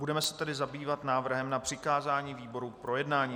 Budeme se tedy zabývat návrhem na přikázání výboru k projednání.